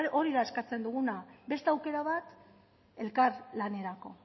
hori da eskatzen duguna beste aukera bat elkar lanerako